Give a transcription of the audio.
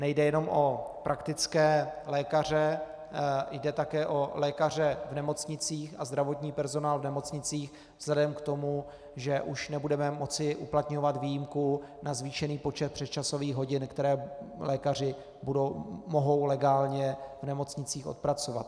Nejde jenom o praktické lékaře, jde také o lékaře v nemocnicích a zdravotní personál v nemocnicích vzhledem k tomu, že už nebudeme moci uplatňovat výjimku na zvýšený počet přesčasových hodin, které lékaři mohou legálně v nemocnicích odpracovat.